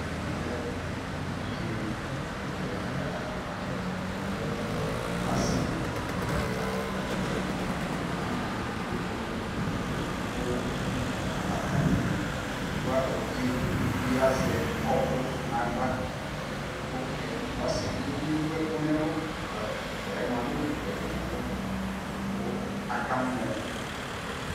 ɛmɛ lɛ evidze ɛdi ɛfua ɛla ɛna asi ɛla uluvi edigbo ko atani edigbo evidze uluvie azɛ ɔku no ala ko ɔsi edigbo bi ewu ɛku no ɛlu ɛfua yɛ moa anewu ɛku no ɛlu ko akamɔ